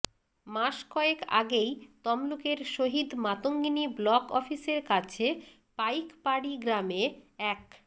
মাস কয়েক আগেই তমলুকের শহিদ মাতঙ্গিনী ব্লক অফিসের কাছে পাইকপাড়ি গ্রামে এক